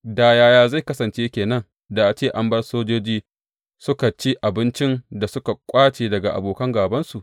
Da yaya zai kasance ke nan da a ce an bar sojoji suka ci abincin da suka ƙwace daga abokan gābansu?